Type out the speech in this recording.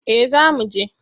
Eh zamu je.